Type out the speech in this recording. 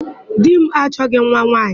Di m achọghị nwa nwaanyị.